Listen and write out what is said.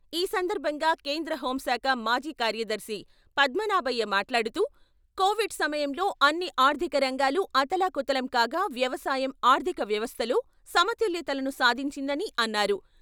ఈ సందర్భంగా కేంద్ర హోం శాఖ మాజీ కార్యదర్శి పద్మనాభయ్య మాట్లాడుతూ, కోవిడ్ సమయంలో అన్ని ఆర్ధిక రంగాలూ అతలా కుతలం కాగా వ్యవసాయం ఆర్ధిక వ్యవస్థలో సమతుల్యతను సాధించిందని అన్నారు.